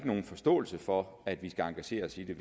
nogen forståelse for at vi skal engagere os i det